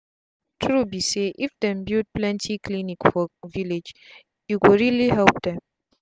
some people like big villages na health workers dey do their check up for them.